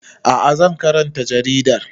A'a zan karanta jaridar